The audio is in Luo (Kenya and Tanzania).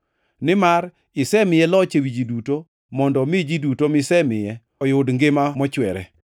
Nimar isemiye loch ewi ji duto mondo omi ji duto misemiye oyud ngima mochwere.